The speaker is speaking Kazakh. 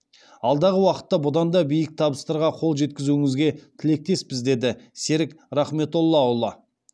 алдағы уақытта бұдан да биік табыстарға қол жеткізуіңізге тілектеспіз деді серік рахметоллаұлы